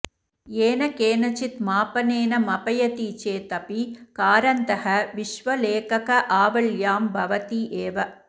येन केनचित् मापनेन मपयति चेत् अपि कारन्तः विश्वलेखकावल्यां भवति एव